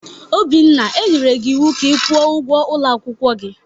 Obinna, e nyere gi ịwụ ka ị kwụọ ụgwọ ulo akwukwo gi!